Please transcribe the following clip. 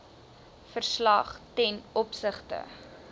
verslag ten opsigte